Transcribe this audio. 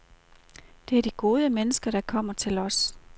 Det er de gode mennesker, der kommer til os.